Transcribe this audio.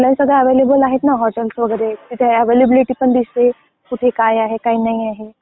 आता ते सगळं ऑनलाईन सगळं अवेलेबल आहेत ना हॉटेल वगैरे तिथे अवेलेबिलिटी पण दिसते. कुठे काय आहे काय नाही आहे.